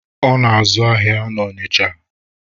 Ọ na-azụ ahịa na Ọnịcha.